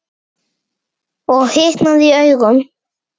Og hitnaði í augum.